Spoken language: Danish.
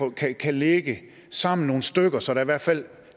kan ligge sammen nogle stykker så der i hvert fald